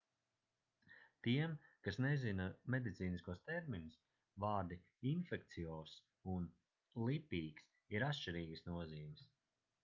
tiem kas nezina medicīniskos terminus vārdi infekciozs' un lipīgs' ir atšķirīgas nozīmes